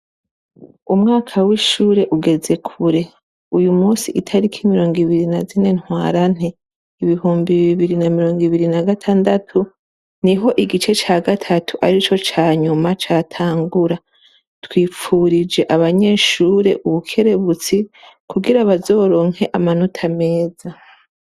Umwaka w'ishure ugeze kure, uyu musi itarikI mirongo ibiri na zine ntwarante ibihumbi bibiri na mirongo ibiri na gatandatu niho igice ca gatatu arico canyuma catangura, twipfurije abanyeshure ubukerebutsi kugira bazoronke amanota meza.